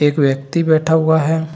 एक व्यक्ति बैठा हुआ है।